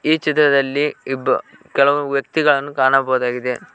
ಈ ಚಿತ್ತದಲ್ಲಿ ಇಬ್ಬ ಕೆಲವರು ವ್ಯಕ್ತಿಗಳನ್ನು ಕಾಣಬಹುದಾಗಿದೆ.